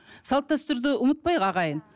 салт дәстүрді ұмытпайық ағайын